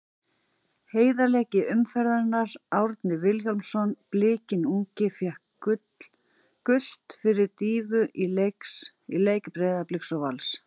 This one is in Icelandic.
Heiðarleiki umferðarinnar: Árni Vilhjálmsson Blikinn ungi fékk gult fyrir dýfu í leik Breiðabliks og Vals.